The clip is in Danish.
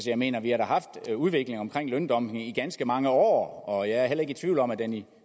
jeg mener vi har da haft udviklingen omkring løndumping i ganske mange år og jeg er heller ikke i tvivl om at den i